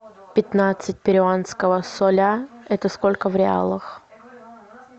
пятнадцать перуанского соля это сколько в реалах